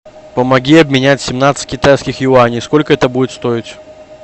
помоги обменять семнадцать китайских юаней сколько это будет стоить